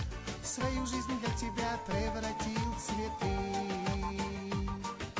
свою жизнь для тебя превратил в цветы